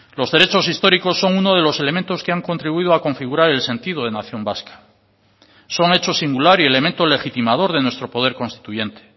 los derechos históricos son uno de los elementos que han contribuido a configurar el sentido de nación vasca son hecho singular y elemento legitimador de nuestro poder constituyente